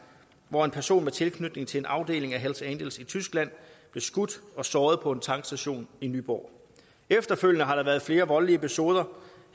hvor en person med tilknytning til en afdeling af hells angels i tyskland blev skudt og såret på en tankstation i nyborg efterfølgende har der været flere voldelige episoder